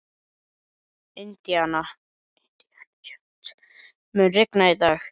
Indíana, mun rigna í dag?